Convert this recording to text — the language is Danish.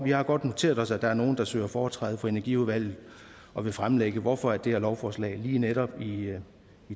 har godt noteret os at der er nogen der søger foretræde for energiudvalget og vil fremlægge hvorfor det her lovforslag lige netop i